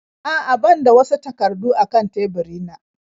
A'a ban da wasu takardu a kan teburina.